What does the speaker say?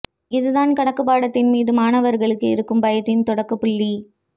இது தான் கணக்குப் பாடத்தின் மீது மாணவர்களுக்கு இருக்கும் பயத்தின் தொடக்கப் புள்ளி